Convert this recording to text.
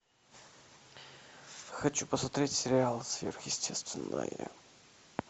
хочу посмотреть сериал сверхъестественное